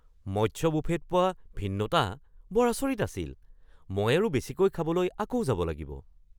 মৎস্য বুফেত পোৱা ভিন্নতা বৰ আচৰিত আছিল! মই আৰু বেছিকৈ খাবলৈ আকৌ যাব লাগিব।